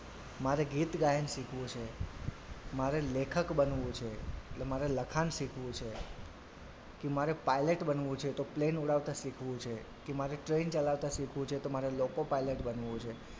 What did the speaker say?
મારે ગીત ગાયન શીખવું છે મારે લેખક બનવું છે એટલે મારે લખાણ શીખવું છે કે મારે pilot બનવું છે તો plain ઉડાવતા શીખવું છે કે મારે train ચલાવતા શીખવું છે તો મારે લોકો pilot બનવું છે.